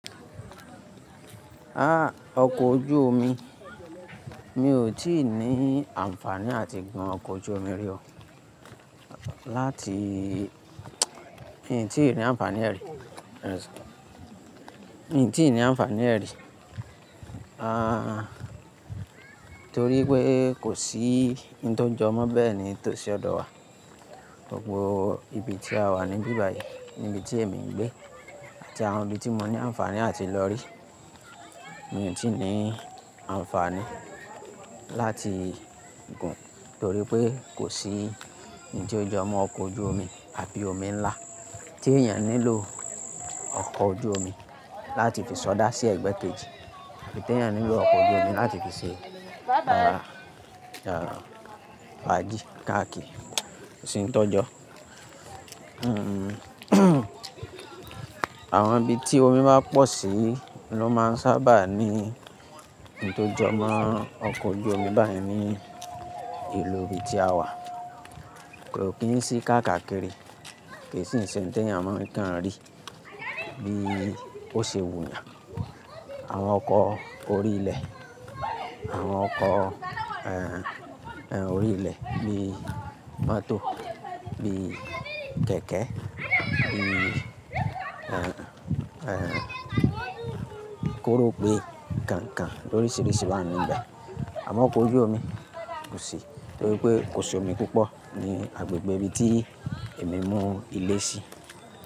Ah! Ọkọ̀ ojú omi, mi ò tí ì ní àǹfààní àti gun ọkọ̀ ojú omi rí o. Láti ǹ tíì ní àǹfààní rẹ̀, ǹ tíì ní àǹfààní rẹ̀. Torí pé kò sí ohun tó jọmọ́ bẹ́ẹ̀ ni tó ṣe ọ̀dọ̀ wa. Gbogbo ibi tí a wà níbí báyìí ni ibi tí èmi ń gbé àti àwọn ibi tí mo ní àǹfààní àti lọ rí. Mi ò tí ì ní àǹfààní láti gun torí pé kò sí ohun tó jọmọ́ ọkọ̀ ojú omi àbí omi ńlá tí èèyàn nílò ọkọ̀ ojú omi láti fi sọdá sí ẹgbẹ́ kejì àbí tí èèyàn nílò ọkọ̀ ojú omi láti fi ṣe,. Fáàgì, káàkì, kosìn tó jọ. Àwọn ibi tí omi bá pọ̀ sí ló máa ń sábà ní ohun tó jọmọ́ ọkọ̀ ojú omi. Báyìí ní ìlú ibi tí a wà kò kí ń sí káàkà kiri. Kò sì ń ṣe ohun tí èèyàn máa ń kàn rí bí ó ṣe wùyàn. Àwọn ọkọ̀ orí ilẹ̀, àwọn ọkọ̀, orí ilẹ̀ bí mọ́tò, bí kẹ̀kẹ́, bii kóró pé, kànkàn lórisìíríṣìí máa ń ní ìgbà. Àmọ́ ọkọ̀ ojú omi kò sí torí pé kò sí omi púpọ̀ ní agbègbè ibi tí èmi mú ilé sí.